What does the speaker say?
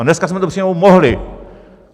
A dneska jsme to přijmout mohli!